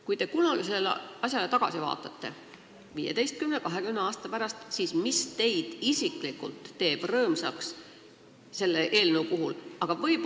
Kui te kunagi sellele asjale tagasi vaatate, näiteks 15 või 20 aasta pärast, siis mis võiks teid isiklikult rõõmsaks teha?